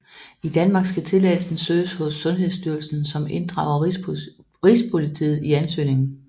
I Danmark skal tilladelsen søges hos Sundhedsstyrelsen som inddrager Rigspolitiet i ansøgningen